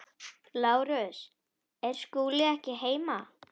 LÁRUS: Er Skúli ekki heima?